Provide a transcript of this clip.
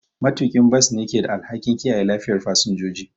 Matuƙin bas ne ke da alhakin kiyaye lafiyar fasinjoji.